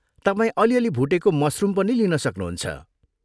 तपाईँ अलिअलि भुटेको मसरुम पनि लिन सक्नु हुन्छ।